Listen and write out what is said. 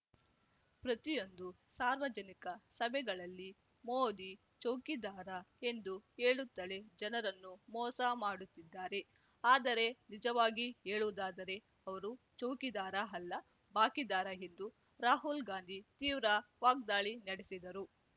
ಪ್ರತಿಯೊಂದು ಸಾರ್ವಜನಿಕ ಸಭೆಗಳಲ್ಲಿ ಮೋದಿ ಚೌಕಿದಾರ ಎಂದು ಹೇಳುತ್ತಲೇ ಜನರನ್ನು ಮೋಸ ಮಾಡುತ್ತಿದ್ದಾರೆ ಆದರೆ ನಿಜವಾಗಿ ಹೇಳುವುದಾದರೇ ಅವರು ಚೌಕಿದಾರ ಅಲ್ಲ ಬಾಕಿದಾರ ಎಂದು ರಾಹುಲ್ ಗಾಂಧಿ ತೀವ್ರ ವಾಗ್ದಾಳಿ ನಡೆಸಿದರು